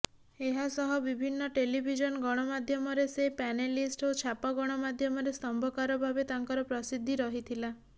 ଏହାସହ ବିଭିନ୍ନ ଟେଲିଭିଜନ ଗଣମାଧ୍ୟମରେ ସେ ପ୍ୟାନେଲିଷ୍ଟ ଓ ଛାପା ଗଣମାଧ୍ୟମରେ ସ୍ତମ୍ଭକାର ଭାବେ ତାଙ୍କର ପ୍ରସିଦ୍ଧି ରହିଥିଲା